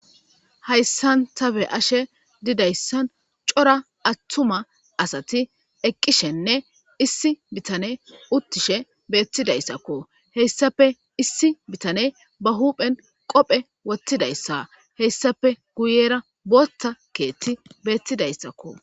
Haysa ta beyashe didaysan c'ora attuma assay eqqishenne issi bittane uttishe bettidaysakko hesappe issi bettane be huphen qophe wothidaysa hesappe guyera Botha kethiy bettizasakko